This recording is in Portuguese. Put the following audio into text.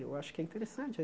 Eu acho que é interessante.